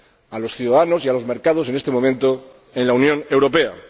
a los ciudadanos y a los mercados en este momento en la Unión Europea.